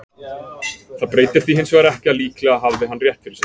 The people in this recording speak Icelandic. Það breytir því hins vegar ekki að líklega hafði hann rétt fyrir sér.